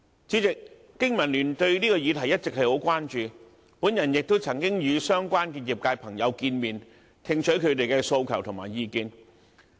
主席，香港經濟民生聯盟對這個議題一直十分關注，我亦曾經與相關的業界朋友會面，聽取他們的訴求和意見。